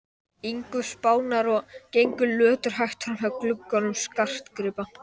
ingu Spánar og gengu löturhægt framhjá gluggum skartgripa